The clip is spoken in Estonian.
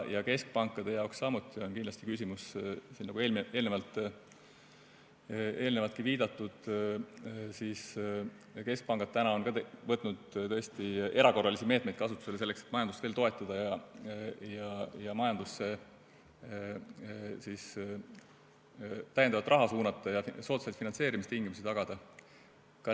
Keskpankade jaoks samuti on kindlasti küsimus siin, nagu eelnevaltki viidatud, see, et keskpangad on võtnud tõesti erakorralisi meetmeid, selleks et majandust veel toetada, majandusse täiendavalt raha suunata ja soodsaid finantseerimistingimusi tagada.